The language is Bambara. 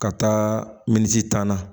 Ka taa minisan na